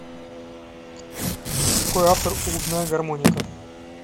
какой автор у губная гармоника